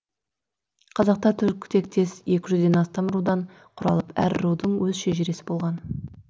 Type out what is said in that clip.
қазақтар түркі тектес екі жүзден астам рудан құралып әр рудың өз шежірешісі болған